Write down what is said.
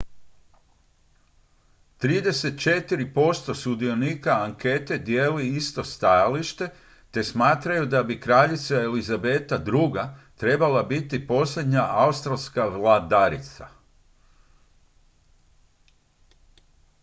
34 posto sudionika ankete dijeli isto stajalište te smatraju da bi kraljica elizabeta ii trebala biti posljednja australska vladarica